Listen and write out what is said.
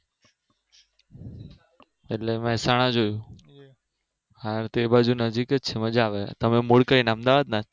એટલે મેહસાણા જોયું હા તો એ બાજુ નજીક જ હે મજા આવે તમે મૂળ ક્યાં અમદાવાદના